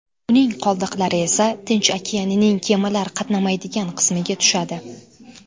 Uning qoldiqlari esa Tinch okeanining kemalar qatnamaydigan qismiga tushadi.